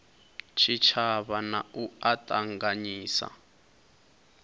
tshitshavha na u a ṱanganyisa